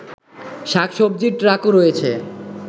শাকসবজির ট্রাকও রয়েছে